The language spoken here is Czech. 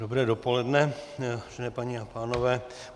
Dobré dopoledne, vážené paní a pánové.